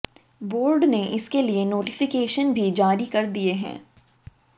board ने इसके लिये नोटिफिकेशन भी जारी कर दिये हैं